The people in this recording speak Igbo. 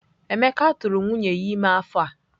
Emeka tụrụ nwunye ya ime afọ a.